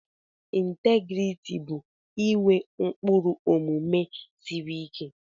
Integriti bụ inwe ụkpụrụ omume siri ike.